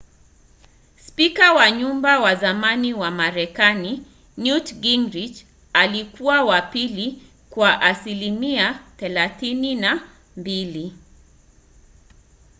spika wa nyumba wa zamani wa marekani newt gingrich alikuwa wa pili kwa asilimia 32